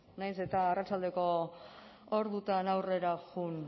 nahiz eta arratsaldeko ordutan aurrera joan